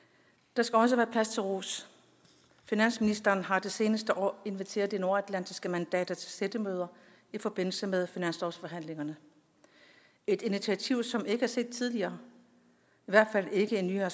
der skal også være plads til ros finansministeren har det seneste år inviteret de nordatlantiske mandater til sættemøder i forbindelse med finanslovsforhandlingerne et initiativ som ikke er set tidligere i hvert fald ikke i nyere